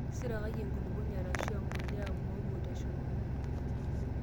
Isirisiraki enkulupuoni arashu empulia moru teshumata.